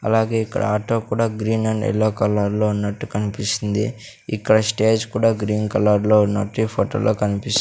అలాగే ఇక్కడ ఆటో కూడా గ్రీన్ అండ్ యెల్లో కలర్ లో ఉన్నట్టు కనిపిస్తుంది. ఇక్కడ స్టేజ్ కూడా గ్రీన్ కలర్ లో ఉన్నట్టు ఈ ఫోటో లో కనిపిస్ --